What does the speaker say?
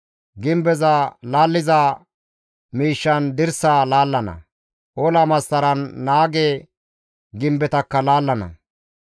Gimbeza laalliza miishshan dirsaa laallana; ola massaran naage gimbetakka laallana.